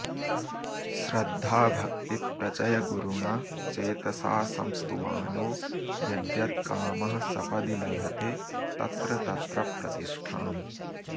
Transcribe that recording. श्रद्धाभक्तिप्रचयगुरुणा चेतसा संस्तुवानो यद्यत्कामः सपदि लभते तत्र तत्र प्रतिष्ठाम्